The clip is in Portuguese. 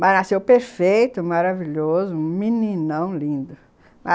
Mas nasceu perfeito, maravilhoso, um meninão lindo.